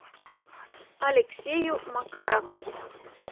алексею макарову